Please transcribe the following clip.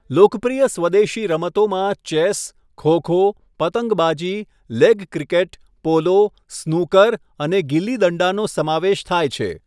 લોકપ્રિય સ્વદેશી રમતોમાં ચેસ, ખો ખો, પતંગબાજી, લેગ ક્રિકેટ, પોલો, સ્નૂકર અને ગિલ્લી દંડાનો સમાવેશ થાય છે.